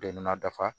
Den nn na dafa